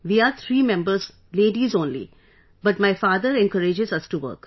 We are three members, ladies only but my father encourages us to work